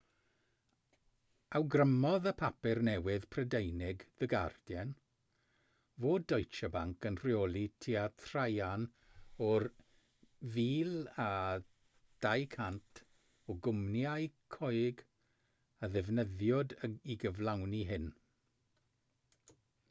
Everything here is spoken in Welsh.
awgrymodd y papur newydd prydeinig the guardian fod deutsche bank yn rheoli tua thraean o'r 1200 o gwmnïau coeg a ddefnyddiwyd i gyflawni hyn